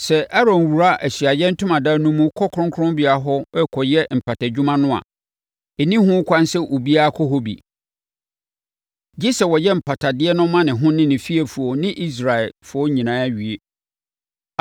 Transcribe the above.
Sɛ Aaron wura Ahyiaeɛ Ntomadan no mu kɔ kronkronbea hɔ rekɔyɛ mpatadwuma no a, ɛnni ho kwan sɛ obiara kɔ hɔ bi, gye sɛ ɔyɛ mpatadeɛ no ma ne ho ne ne fiefoɔ ne Israelfoɔ nyinaa wie.